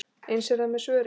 Eins er það með svörin.